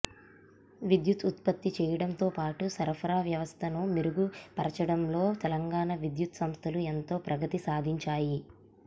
విద్యుత్ ఉత్పత్తి చేయడంతో పాటు సరఫరా వ్యవస్థను మెరుగు పర్చడంలో తెలంగాణ విద్యుత్ సంస్థలు ఎంతో ప్రగతి సాధించాయి